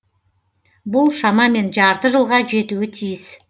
бұл шамамен жарты жылға жетуі тиіс